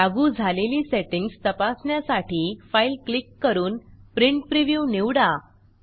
लागू झालेली सेटींग्ज तपासण्यासाठी फाइल क्लिक करून प्रिंट प्रिव्ह्यू निवडा